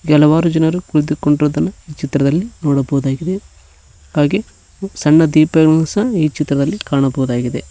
ಕೆಲವಾರು ಜನರು ಕುಳಿತು ಕೊಂಡಿರುವುದನ್ನು ಚಿತ್ರದಲ್ಲಿ ನೋಡಬಹುದಾಗಿದೆ ಹಾಗೆ ಸಣ್ಣ ತಿಪಾಯಿಗಳನ್ನು ಸಹ ಕಾಣಬೋದಾಗಿದೆ.